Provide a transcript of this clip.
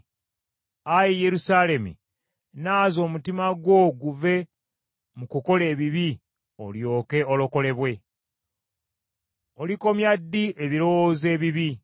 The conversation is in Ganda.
Ayi Yerusaalemi, naaza omutima gwo guve mu kukola ebibi olyoke olokolebwe. Olikomya ddi ebirowoozo ebibi?